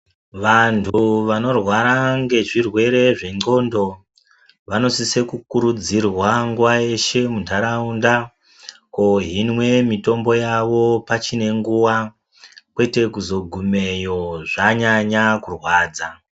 Vantu vanorwara nezvirwere zvenxondo vanosise kukurudzirwa nguwa yeshe mundaraunda kohinwe mitombo yawo pachine nguwa kwete kuzogumeyo zvanyanya kurwadza